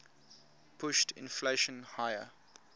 pushed inflation higher